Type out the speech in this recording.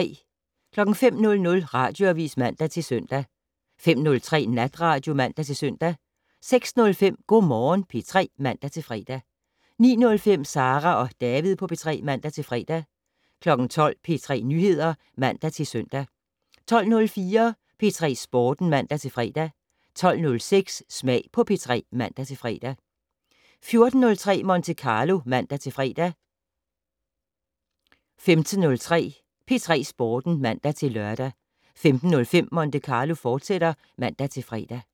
05:00: Radioavis (man-søn) 05:03: Natradio (man-søn) 06:05: Go' Morgen P3 (man-fre) 09:05: Sara og David på P3 (man-fre) 12:00: P3 Nyheder (man-søn) 12:04: P3 Sporten (man-fre) 12:06: Smag på P3 (man-fre) 14:03: Monte Carlo (man-fre) 15:03: P3 Sporten (man-lør) 15:05: Monte Carlo, fortsat (man-fre)